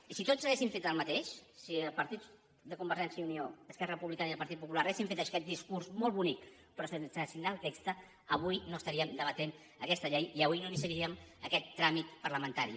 i si tots haguéssim fet el mateix si el partit de convergència i unió esquerra republicana i el partit popular haguéssim fet aquest discurs molt bonic però sense signar el text avui no estaríem debatent aquesta llei i avui no iniciaríem aquest tràmit parlamentari